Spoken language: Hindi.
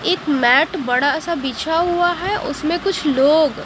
एक मैट बड़ा सा बिछा हुआ है उसमें कुछ लोग--